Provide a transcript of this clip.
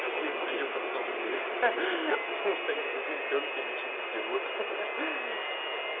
один приём на самом деле потому что они за один приём тебе ничего не сделают